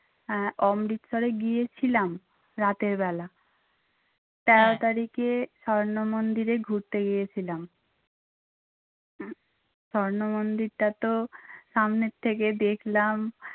আহ অমৃতসারে গিয়েছিলাম রাতের বেলা। তেরো তারিখে স্বর্ণমন্দিরে ঘুরতে গিয়েছিলাম। স্বর্ণ মন্দিরটা তো সামনে থেকে দেখলাম